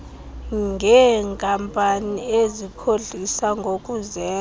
ngeenkampani ezikhohlisa ngokuzenza